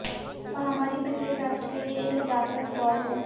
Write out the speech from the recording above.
महामारी प्रत्येक राष्ट्र के लिए एक जागृत कॉल है